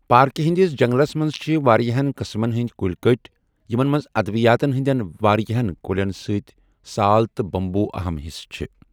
پاركہِ ہندِس جنگلس منز چھِ وارِیاہن قٕسمن ہندِ كُلۍ كٔٹۍ یمن منز ادوِیاتن ہندِین وارِیاہن كُلین سۭتۍ سال تہٕ بمبو اہم حصہٕ چھِ۔